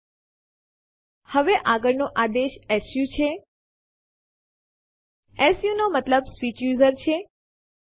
બધા વિકલ્પોમાં R એક વધુ મહત્વનું છે